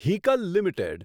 Hikal limited